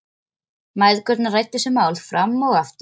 Mæðgurnar ræddu þessi mál fram og aftur.